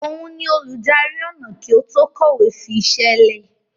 Òun ni olùdarí ọnà kí ó tó kọ̀wé fi iṣẹ́ lẹ̀.